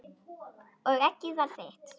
Og eggið var þitt!